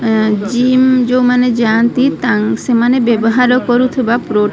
ଏଁ gym ଯୋଉମାନେ ଯାଆନ୍ତି ତାଙ୍କ ସେମାନେ ବ୍ୟବହାର କରୁଥିବା ପ୍ରୋ --